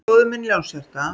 Bróðir minn Ljónshjarta